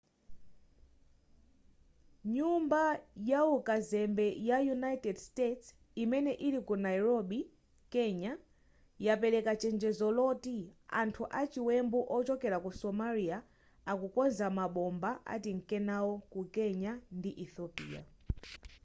nyumba yawu kazembe ya united states imene ili ku nairobi kenya yapereka chenjezo loti anthu achiwembe ochokera ku somalia akukonza mabomba atinke nawo ku kenya ndi ethiopia